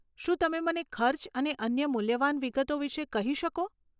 શું તમે મને ખર્ચ અને અન્ય મૂલ્યવાન વિગતો વિશે કહી શકો?